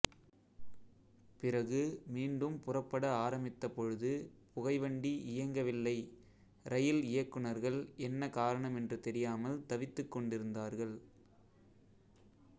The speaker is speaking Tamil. பிறகு மீண்டும் புறப்பட ஆரம்பித்தபொழுது புகைவண்டி இயங்கவில்லை இரயில் இயக்குனர்கள் என்ன காரணம் என்று தெரியாமல் தவித்துக்கொண்டிருந்தார்கள்